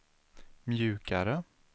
mjukare